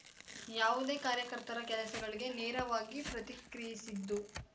ಯಾವುದೇ ಕಾರ್ಯಕರ್ತರ ಕೆಲಸಗಳಿಗೆ ನೇರವಾಗಿ ಪ್ರತಿಕ್ರಿಯಿಸಿದ್ದು